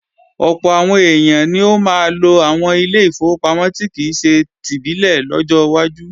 Ọ̀pọ̀ àwọn èèyàn ni ó máa lo àwọn ilé ìfowópamọ́ tí kìí ṣe tìbílẹ̀ lọ́jọ́ wájú